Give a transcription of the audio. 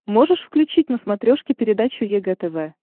можешь включить на смотрешке передачу егэ тв